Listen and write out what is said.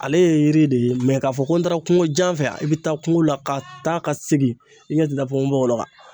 Ale ye yiri de ye k'a fɔ ko n taara kungojan fɛ i bɛ taa kungo la ka taa ka segin i ɲɛ tɛ da pɔnpɔbɔgɔlɔ kan.